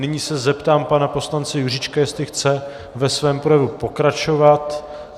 Nyní se zeptám pana poslance Juříčka, jestli chce ve svém projevu pokračovat.